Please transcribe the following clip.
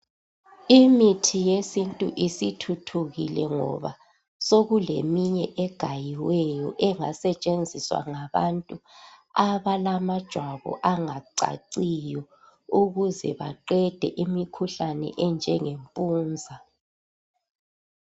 Imithi yesintu isithuthukile ngoba sokuleminye egayiweyo engasetshenziswa ngabantu abalamajwabu angacaciyo ukuze baqede imikhuhlane enjenge mpunza.